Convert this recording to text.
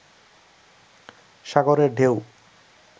সাগরের ঢেউ